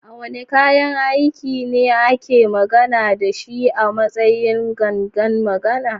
Wane kayan aiki ne ake magana da shi a matsayin "gangan magana"?